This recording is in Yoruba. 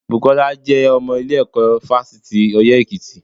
Bùkọ́lá jẹ́ ọmọ ilé ẹ̀kọ́ fásitì ti ọyẹ́ èkìtì